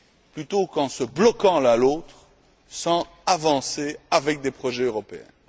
plutôt qu'en se bloquant l'un l'autre sans avancer avec des projets européens.